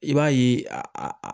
I b'a ye a